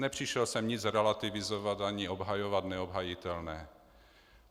Nepřišel jsem nic relativizovat ani obhajovat neobhajitelné.